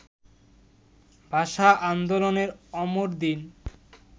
ভাষা আন্দোলনের অমর দিন